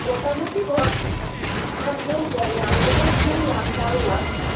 মোটামুটি ধর ওখানে গেলে আমি যেটা শুনলাম জানলাম